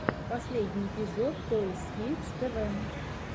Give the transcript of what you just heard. последний эпизод тойс кидс тэ вэ